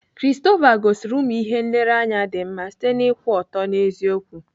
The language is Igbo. Christopher gosiri ụmụ ihe nlereanya dị mma site n'ịkwụ ọtọ n'eziokwu.